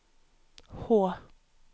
H